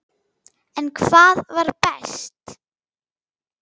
En hvað var best?